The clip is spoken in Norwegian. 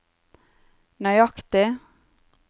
nøyaktig